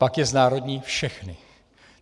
Pak je znárodní všechny!.